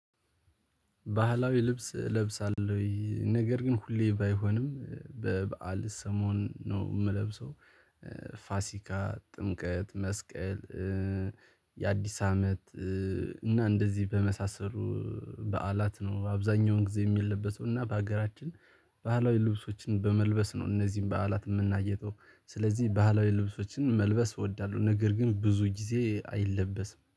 ባህላዊ ልብስ እለብሳለሁ ወይ ነገር ግን ሁሌ ባይሆንም በበዓል ሰሞን ነው የምለብሰው። ፋሲካ ጥምቀት መስቀል። የአዲስ አመት እና እንደዚህ በመሳሰሉ በዓላት ነው አብዛኛውን ጊዜ የሚለበሰው። እና በሀገራችን ባህላዊ ልብሶችን በመልበስ ነው እነዚህን በዓላት የምናሳልፈው። ስለዚህ ባህላዊ ልብሶችን መልበስ እወዳለሁ ነገር ግን ብዙ ጊዜ አይለበስም